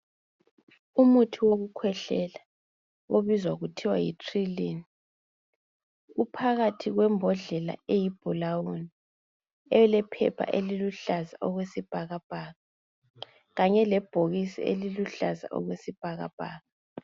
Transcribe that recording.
Umuthi wokukhwehlela obizwa kuthiwa yi trylyn , uphakathi kwembodlela eyi blawuni elephepha eliluhlaza okwesibhakabhaka kanye lebhokisi eliluhlaza okwesibhakabhaka